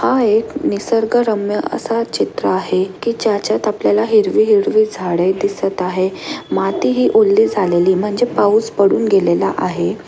हा एक निसर्गरम्य असा चित्र आहे की ज्याच्यात आपल्याला हिरवी-हिरवी झाडे दिसत आहे माती ही ओली झालेली म्हणजे पाऊस पडून गेलेला आहे.